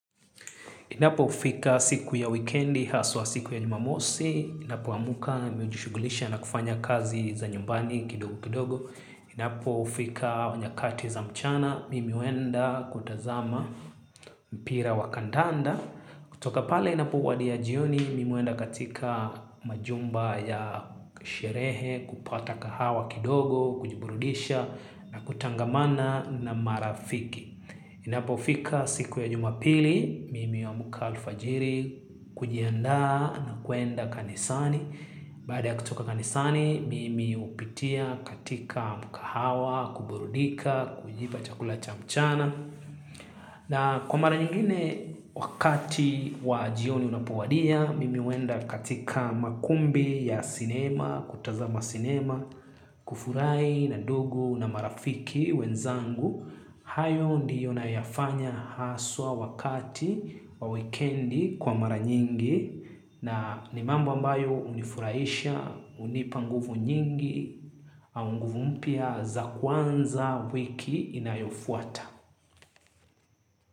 Inapo fika siku ya wikendi haswa siku ya Jumamosi, ninapo amka mi ujushugulisha na kufanya kazi za nyumbani kidogo kidogo. Inapofika nyakati za mchana, mimi huenda kutazama mpira wakandanda. Kutoka pale inapowadia jioni, mimi huenda katika majumba ya sherehe kupata kahawa kidogo, kujiburudisha na kutangamana na marafiki. Inapo fika siku ya Jumapili, mimi huamka alfajiri kujiandaa na kuenda kanisani. Baada ya kutoka kanisani, mimi hupitia katika mkahawa, kuburudika, kujipa chakula cha mchana. Na kwa mara nyingine wakati wajioni unapowadia, mimi huenda katika makumbi ya sinema, kutazama sinema, kufurahi na ndugu na marafiki wenzangu. Hayo ndiyo na yafanya haswa wakati wa wikendi kwa mara nyingi na ni mambo ambayo unifuraisha, unipa nguvu nyingi, au nguvu mpya za kuanza wiki inayofuata.